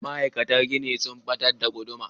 Ma'aikatan gini sun batar da guduma.